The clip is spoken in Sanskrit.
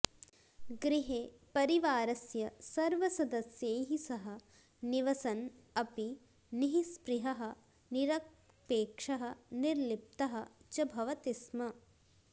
गृहे परिवारस्य सर्वसदस्यैः सह निवसन् अपि निःस्पृहः निरपेक्षः निर्लिप्तः च भवति स्म